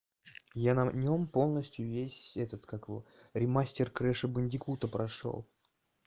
я на нём полностью весь этот как его ремастер крэша бандикута прошёл